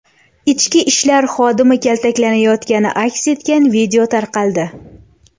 Ichki ishlar xodimi kaltaklanayotgani aks etgan video tarqaldi.